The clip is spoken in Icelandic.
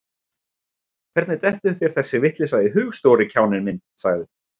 Hvernig dettur þér þessi vitleysa í hug, stóri kjáninn minn sagði